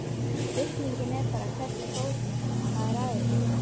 Spurningin er bara, hvernig fór maðurinn að þessu?